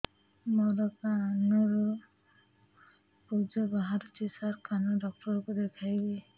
ମୋ କାନରୁ ପୁଜ ବାହାରୁଛି ସାର କାନ ଡକ୍ଟର କୁ ଦେଖାଇବି